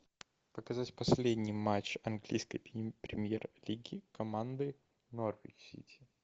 показать последний матч английской премьер лиги команды норвич сити